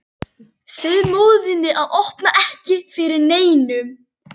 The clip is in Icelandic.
Segðu móður þinni að opna ekki fyrir neinum.